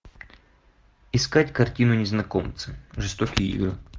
искать картину незнакомцы жестокие игры